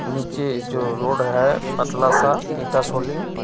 निचे जो रोड है पतलासा ईटा सोलिंग.